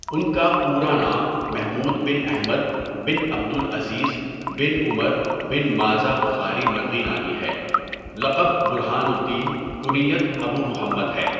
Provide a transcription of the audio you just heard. ان کا پورا نام محمود بن احمد بن عبد العزيز بن عمر بن مازہ بخاری مرغینانی ہے لقب برہان الدین کنیت ابو محمد ہے.